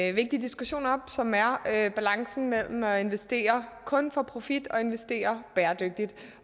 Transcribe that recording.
en vigtig diskussion op som er balancen mellem at investere kun for profit og at investere bæredygtigt